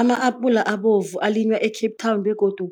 Ama-apula abovu alinywa e-Cape Town begodu